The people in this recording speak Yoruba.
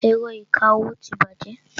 Ẹ̀rọ ìkawó ti bàjẹ́.